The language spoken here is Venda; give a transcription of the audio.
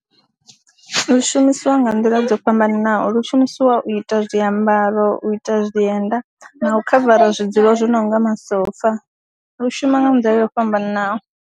Zwi shumiswa nga nḓila dzo fhambananaho, lu shumisiwa u ita zwiambaro, u ita zwienda na u khavara zwidzulo zwo no nga masofa, lu shuma nga nḓila yo fhambananaho.